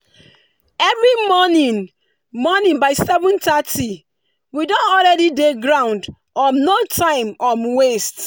every morning morning by 7:30 we don already dey ground um no time um waste.